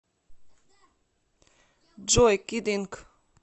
джой кид инк